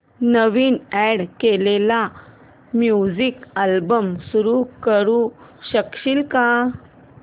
नवीन add केलेला music album सुरू करू शकशील का